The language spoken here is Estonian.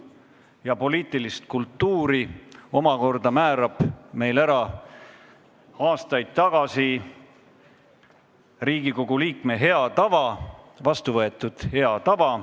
Ja poliitilise kultuuri omakorda määrab aastaid tagasi heaks kiidetud Riigikogu liikme hea tava.